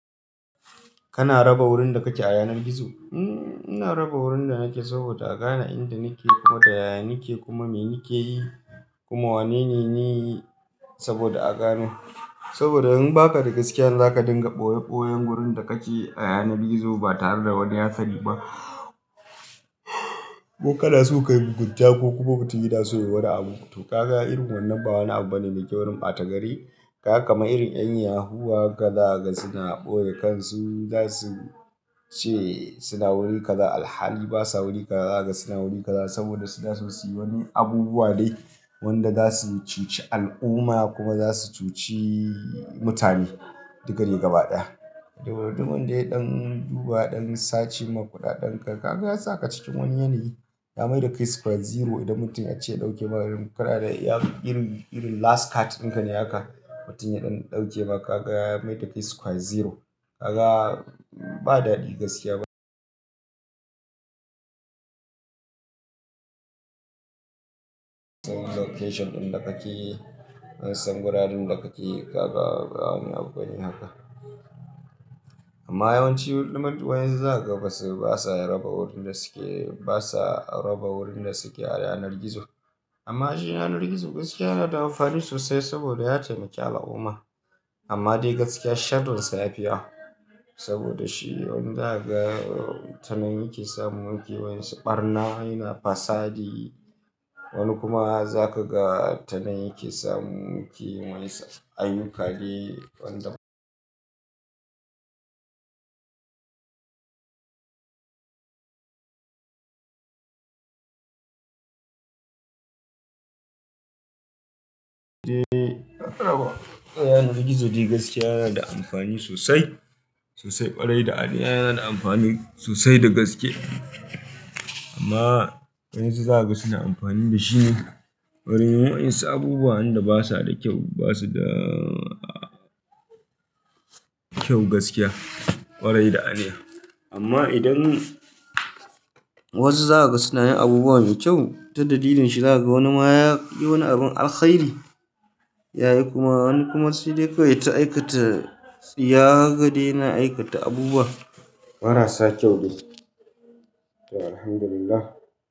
Kana raba wurin da kake a yanar gizo? Hmm, ina raba wurin da nake saboda a gane inda nake, kuma da yaya nake, kuma me nake yi, kuma wane ne ni, saboda a gano. Saboda in ba ka da gaskiya ne za ka dinga ɓoye-ɓoyen gurin da kake a yanar gizo ba tare da wani ya sani ba. Ko kana so ka yi mugunta ko kuma mutum yana so yayi wani abu. To ka ga irin wannan ba wani abu bane mai kyaw irin ɓata gari. Ka ga kaman irin 'yan yahoo haka za ka ga suna ɓoye kansu za su ce suna wuri kaza alhali basa wuri kaza. Za ka ga suna wuri kaza saboda suna so su yi wani abubuwa dai wanda za su cuci al'umma kuma za su cuci mutane duka dai gaba ɗaya. Da wanda ya ɗan duba ya ɗan sace, ma ƙuɗaɗenka kaga ya sa ka cikin wani yanayi ya mai da kai square zero. Idan mutum ya ce ya ɗauke maka irin kuɗaɗe ya irin, irin last card ɗinka ne haka mutum ya ɗan ɗauke maka ka ga ya mai da kai square zero. Ka ga ba daɗi gaskiya ba. Ansan location ɗin da kake, an san wuraren da kake ka ga ba wani abu bane haka. Amma yawanci wayansu za ka ga basa raba wurin da suke, basa raba wurin da suke a yanar gizo. Amma shi yanar gizo gaskiya yana da amfani sosai saboda ya taimake al'umma. Amma dai gaskiya sharrinsa ya fiya saboda shi wani za ka ga tanan yake samu yake wai su ɓarna yana fasadi wani kuma za ka ga tanan yake samu yake wai ayyuka ne wanda- De abba. A yanar gizo dai gaskiya yana da amfani sosai, sosai kwarai da aniya yana da amfani sosai da gaske. Amma wayansu za ka ga suna amfani da shi ne wurin wayan su abubuwan da basa da kyau, basu da kyau gaskiya kwarai da aniya. Amma idan wasu za ka ga suna yin abubuwa mai kyau ta dalilin shiga wani ma ya yi wani abin alkhairi yayi kuma wani kuma sai dai kawai yaita aikata, tsiya haka daj yana aikata abubuwa marasa kyau dai. To alhamdulillah.